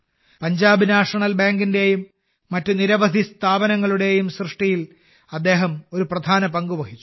Punjab national ബാങ്കിന്റെയും മറ്റ് നിരവധി സ്ഥാപനങ്ങളുടെയും സൃഷ്ടിയിൽ അദ്ദേഹം ഒരു പ്രധാന പങ്ക് വഹിച്ചു